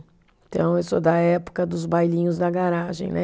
Então, eu sou da época dos bailinhos da garagem, né?